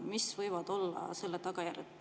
Mis võivad olla selle tagajärjed?